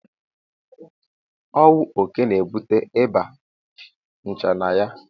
Ọwụ oke na-ebute Ịba nchanaya.